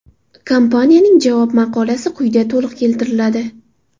Kompaniyaning javob maqolasi quyida to‘liq keltiriladi.